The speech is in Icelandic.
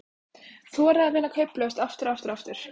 Þora að vinna kauplaust, aftur og aftur og aftur.